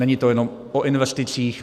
Není to jenom o investicích.